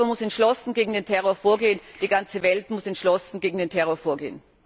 Europa muss entschlossen gegen den Terror vorgehen die ganze Welt muss entschlossen gegen den Terror vorgehen.